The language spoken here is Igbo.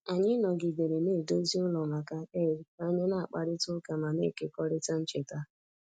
Anyị nọgidere na-edozi ụlọ maka Eid ka anyị na-akparịta ụka ma na-ekekọrịta ncheta